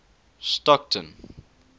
stockton